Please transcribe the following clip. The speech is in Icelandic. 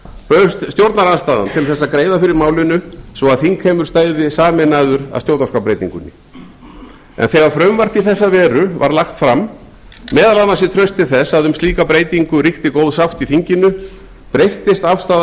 bauðst stjórnarandstaðan tl þess að greiða fyrir málinu svo að þingheimur stæði sameinaður að stjórnarskrárbreytingunni en þegar frumvarp í þessa veru var lagt fram meðal annars í trausti þess að um slíka breytingu ríkti góð sátt í þinginu breyttist afstaða